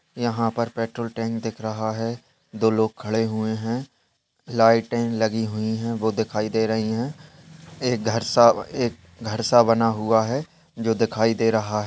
यहाँ पर petrol tank दिख रहा है दो लोग खड़े हुए है लाइटे लगी हुई है वो दिखाई दे रही है एक घर सा एक घर सा बना हुआ है जो दिखाई दे रहा है।